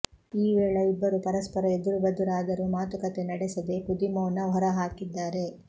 ಈ ವೇಳ ಇಬ್ಬರು ಪರಸ್ಪರ ಎದುರುಬದುರಾದರೂ ಮಾತುಕತೆ ನಡೆಸದೇ ಕುದಿಮೌನ ಹೊರಹಾಕಿದ್ದಾರೆ